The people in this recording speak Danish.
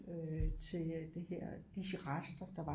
Øh til det her de rester der var